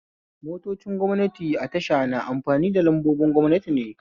Motocin gwamnati a tasha na amfani da lambobin gwamnati ne